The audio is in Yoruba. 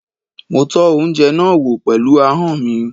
Mo tọ́ oúnjẹ náà wò pẹ̀lú ahọ́n mi.